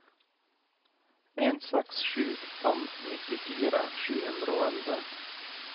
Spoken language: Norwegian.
en seks sju fem nittifire sju hundre og elleve